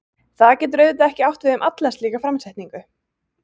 Þetta getur auðvitað ekki átt við um alla slíka framsetningu.